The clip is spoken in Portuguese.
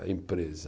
À empresa.